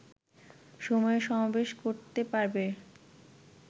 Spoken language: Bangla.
সময়ে সমাবেশ করতে পারবে